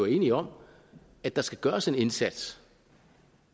enige om at der skal gøres en indsats